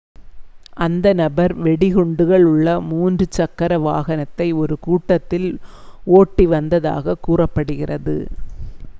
அந்த நபர் வெடிகுண்டுகள் உள்ள ஒரு மூன்று சக்கர வாகனத்தை ஒரு கூட்டத்தில் ஓட்டிவந்ததாகக் கூறப்படுகிறது